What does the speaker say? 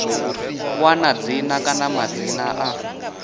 wana dzina kana madzina a